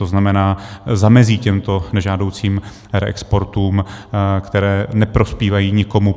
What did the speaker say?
To znamená, zamezí těmto nežádoucím reexportům, které neprospívají nikomu.